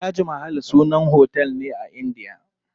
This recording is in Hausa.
Taj mahal sannan otel ne a indiya.